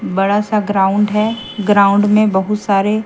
बड़ा सा ग्राउंड है ग्राउंड में बहुत सारे--